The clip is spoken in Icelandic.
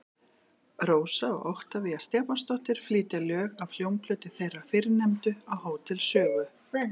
Rósa og Oktavía Stefánsdóttir flytja lög af hljómplötu þeirrar fyrrnefndu á Hótel Sögu.